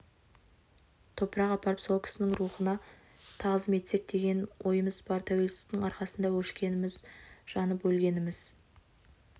топырақ апарып сол кісінің рухына тағзым етсек деген ойымыз бар тәуелсіздіктің арқасында өшкеніміз жанып өлгеніміз